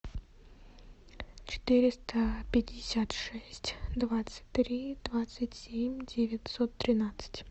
четыреста пятьдесят шесть двадцать три двадцать семь девятьсот тринадцать